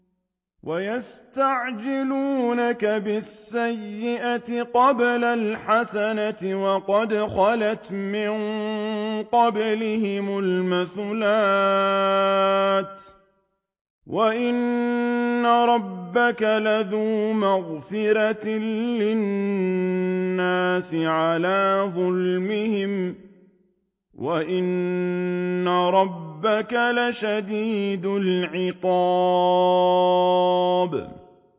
وَيَسْتَعْجِلُونَكَ بِالسَّيِّئَةِ قَبْلَ الْحَسَنَةِ وَقَدْ خَلَتْ مِن قَبْلِهِمُ الْمَثُلَاتُ ۗ وَإِنَّ رَبَّكَ لَذُو مَغْفِرَةٍ لِّلنَّاسِ عَلَىٰ ظُلْمِهِمْ ۖ وَإِنَّ رَبَّكَ لَشَدِيدُ الْعِقَابِ